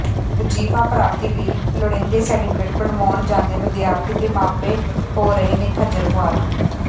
ਵਜੀਫਾ ਪ੍ਰਾਪਤੀ ਲਈ ਲੋੜੀਂਦੇ ਸਰਟੀਫਿਕੇਟ ਬਣਵਾਉਣ ਜਾਂਦੇ ਵਿਦਿਆਰਥੀ ਤੇ ਮਾਪੇ ਹੋ ਰਹੇ ਨੇ ਖੱਜਲ ਖੁਆਰ